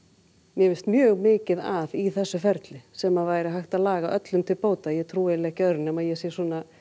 mér finnst mjög mikið að í þessu ferli sem væri hægt að laga öllum til bóta ég trúi ekki öðru nema ég sé